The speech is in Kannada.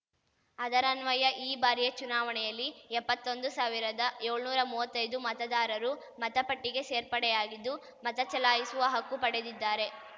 ಅದರನ್ವಯ ಈ ಬಾರಿಯ ಚುನಾವಣೆಯಲ್ಲಿ ಎಪ್ಪತ್ತೊಂದು ಸಾವಿರದಯೋಳ್ನೂರಾ ಮುವ್ವತ್ತೈದು ಮತದಾರರು ಮತಪಟ್ಟಿಗೆ ಸೇರ್ಪಡೆಯಾಗಿದ್ದು ಮತಚಲಾಯಿಸುವ ಹಕ್ಕು ಪಡೆದಿದ್ದಾರೆ